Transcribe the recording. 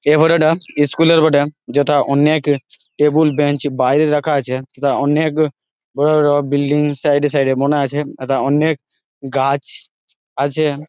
এই ফটো টা ইস্কুল এর বটে। যথা অনেক টেবিল বেঞ্চ বাইরে রাখা আছে তথা অনেক বড় বড় বিল্ডিং সাইড এ সাইড এ মনে আছে তথা অনেক গাছ আছে।